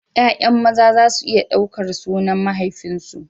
Ya'yan maza za su iya ɗaukar sunan mahaifinsu.